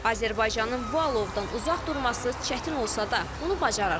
Azərbaycanın bu alovdan uzaq durması çətin olsa da, bunu bacarır.